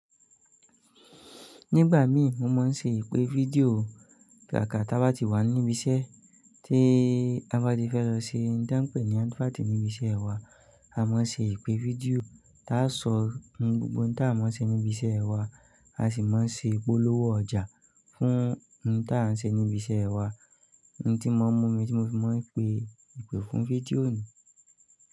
Nígbà mí mo máa ń ṣe ìpè fídíò, kàkà táa bá ti wà níbi iṣẹ́ tí a bá ti fẹ́ lọ ṣe, ntàn pé ní advert níbi iṣẹ́ wa, a máa ń ṣe ìpè fídíò tí a ó sọ ohun gbogbo tí a máa ń ṣe níbi iṣẹ́ wa, a sì máa ń ṣe ìpolówó ọjà fún ohun tí à ń ṣe níbi iṣẹ́ wa. Ohun tí mo mu mí, tí mo sì máa ń pè ìpè fún fídíò ni.